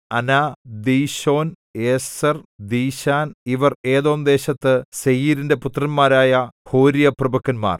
അനാ ദീശോൻ ഏസെർ ദീശാൻ ഇവർ ഏദോംദേശത്ത് സേയീരിന്റെ പുത്രന്മാരായ ഹോര്യപ്രഭുക്കന്മാർ